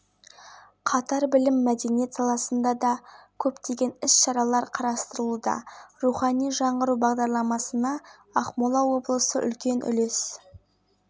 архат айбабин облыстық ішкі саясат басқармасы басшысының міндетін атқарушы авторлары нұржан мергенбай мадина смағұлова евгений шинкаренко